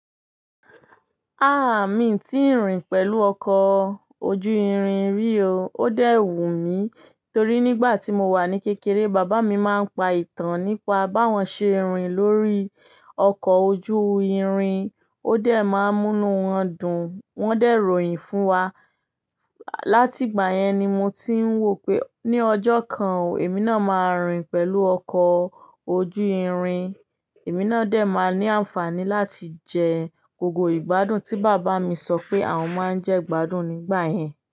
Ah! Mi ti rin pẹ̀lú ọkọ̀ ojú irin rí o. Ó dẹ̀ wù mí, torí nígbà tí mo wà ní kékeré, bàbá mi máa ń pa ìtàn nípa bá wọn ṣe rin lórí ọkọ̀ ojú irin. Ó dẹ̀ máa ń múnu wọn dùn. Wọ́n dẹ̀ ròyìn fún wa. Láti ìgbà yẹn ni mo ti ń wò pé ní ọjọ́ kan, èmi náà máa rìn pẹ̀lú ọkọ̀ ojú irin. Èmi náà dẹ̀ máa ní àǹfààní láti jẹ gbogbo ìgbádùn tí bàbá mi sọ pé àwọn máa ń jẹ ìgbádùn nígbà yẹn.